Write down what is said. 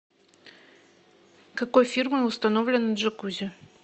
какой фирмы установлено джакузи